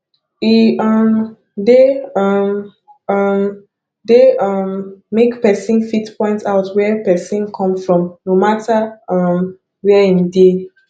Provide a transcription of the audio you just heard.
e um de um um de um make persin fit point out where persin come from no matter um where im de